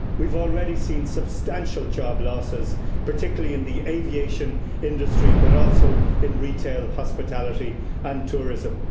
We've already seen substantial job losses, particularly in the aviation industry, but also in retail, hospitality and tourism.